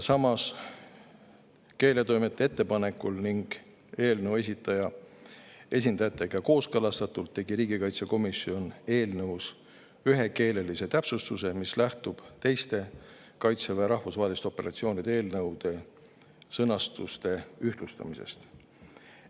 Samas, keeletoimetaja ettepanekul ning eelnõu esindajatega kooskõlastatult tegi riigikaitsekomisjon ühe keelelise täpsustuse, mis lähtub teiste Kaitseväe rahvusvaheliste operatsioonide eelnõude sõnastuste ühtlustamisest.